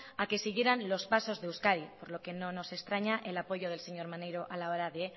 a que siguieran los pasos de euskadi por lo que no nos extraña el apoyo del señor maneiro a la hora de